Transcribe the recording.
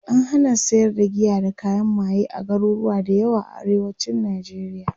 an hana sayar da giya da kayan maye a garuruwa da yawa a arewacin nijeriya